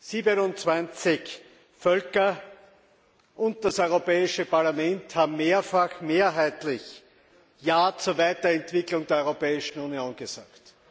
27 Völker und das Europäische Parlament haben mehrfach mehrheitlich Ja zur Weiterentwicklung der Europäischen Union gesagt.